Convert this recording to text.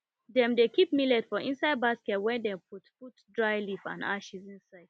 dem dey keep millet for inside basket wey dem put put dry leaf and ashes inside